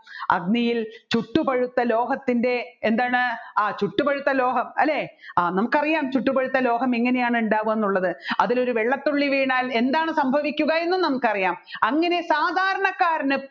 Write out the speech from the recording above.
അഗ്നിയിൽ ചുട്ടുപഴുത്ത ലോഹത്തിൻെറ എന്താണ് ആ ചുട്ടുപഴുത്ത ലോഹം അല്ലെ ആ നമ്മുക്കറിയും ചുട്ടുപഴുത്ത ലോഹം എങ്ങനെയാണ് ഉണ്ടാവുക എന്നുള്ളത് അതിലൊരു വെള്ളത്തുള്ളി വീണാൽ എന്താണ് സംഭവിക്കുക എന്നും നമുക്കറിയാം അങ്ങനെ സാദാരണകാരന്